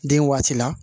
Den waati la